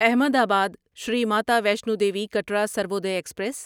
احمد آباد شری ماتا ویشنو دیوی کٹرا سروودے ایکسپریس